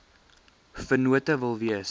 vennote wil wees